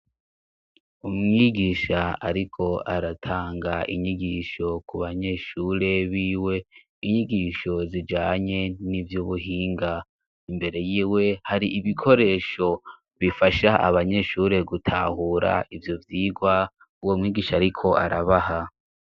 umwigisha ariko aratanga inyigisho ku banyeshure b'iwe inyigisho zijanye n'ivy'ubuhinga imbere y'iwe hari ibikoresho bifasha abanyeshure gutahura ivyo vyigwa uwo mwigisha ariko arabaha